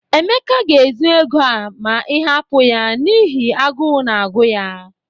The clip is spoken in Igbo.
Emeka ga-ezu ego a ma ị hapụ ya n'ihi agụụ na-agụ ya.